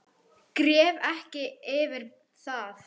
Gref ekki yfir það.